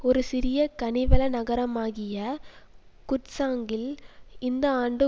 ஒரு சிறிய கனிவள நகரமாகிய குட்சாங்கில் இந்த ஆண்டு